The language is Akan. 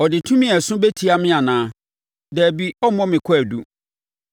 Ɔde tumi a ɛso bɛtia me anaa? Dabi, ɔremmɔ me kwaadu.